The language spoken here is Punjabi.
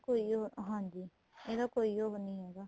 ਇਹਦਾ ਕੋਈ ਉਹ ਹਾਂਜੀ ਇਹਦਾ ਕੋਈ ਉਹ ਨਹੀਂ ਹੈਗਾ